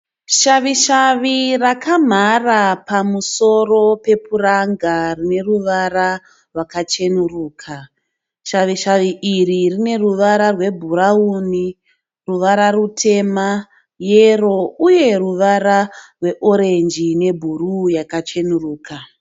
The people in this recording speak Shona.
Shavishavi rakamhara pamusoro pe puranga rineruvara rwakachenuruka. Shavishavi iri rine ruvara rwe bhurauni ruvara rutema, yero uye ruvara rwe orange nebhuruu yakachenuruka.